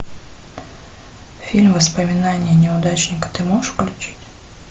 фильм воспоминания неудачника ты можешь включить